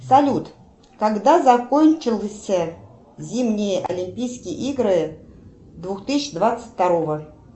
салют когда закончился зимние олимпийские игры две тысячи двадцать второго